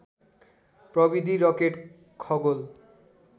प्रविधि रकेट खगोल